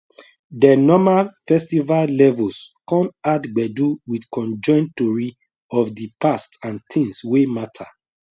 de normal festival levels con add gbedu with conjoined tory of the past and things wey mata